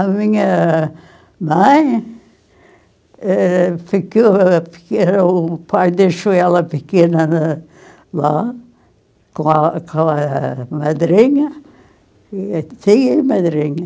A minha mãe, eh, ficou ô, porque era o o pai deixou ela pequena lá, com a com a madrinha, e a tia e a madrinha.